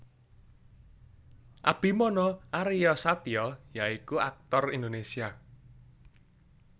Abimana Aryasatya ya iku aktor Indonesia